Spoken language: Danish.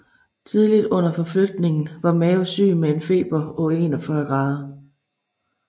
Tidligt under forflytningen var Mao syg med en feber på 41 grader